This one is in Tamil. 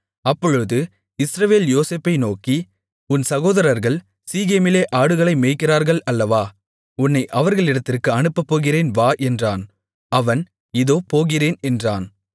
அப்பொழுது இஸ்ரவேல் யோசேப்பை நோக்கி உன் சகோதரர்கள் சீகேமிலே ஆடுகளை மேய்க்கிறார்கள் அல்லவா உன்னை அவர்களிடத்திற்கு அனுப்பப் போகிறேன் வா என்றான் அவன் இதோ போகிறேன் என்றான்